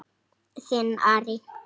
Þinn Ari.